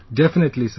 Definitely Sir